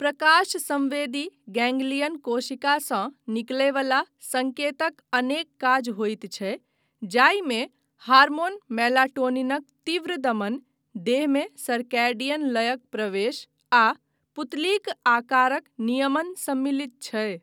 प्रकाश संवेदी गैंग्लियन कोशिकासँ निकलय वला संकेतक अनेक काज होइत छै जाहिमे हार्मोन मेलाटोनिनक तीव्र दमन, देहमे सर्कैडियन लयक प्रवेश आ पुतलीक आकारक नियमन सम्मिलित छै।